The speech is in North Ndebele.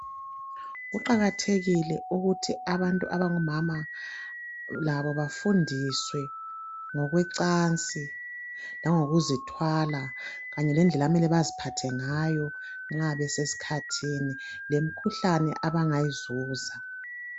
Kuqakathekile ukuthi abantu abangomama labo bafundiswe ngokwecansi langokuzithwala Kanye lendlela okumele baziphathe ngayo nxa besesikhathini lemkhuhlane abangayizuza.